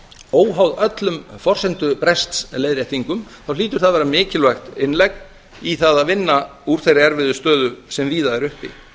óháð öllum forsendubrests leiðréttingum þá hlýtur það að vera mikilvægt innlegg í það að vinna úr þeirri erfiðu stöðu sem víða er uppi